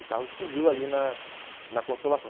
O carro explodiu ali na na consolação.